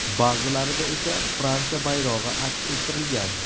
Ba’zilarida esa Fransiya bayrog‘i aks ettirilgan.